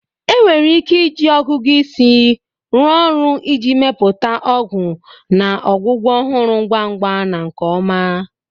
Enwere ike iji ọgụgụ isi rụọ ọrụ iji mepụta ọgwụ na ọgwụgwọ ọhụrụ ngwa ngwa na nke ọma.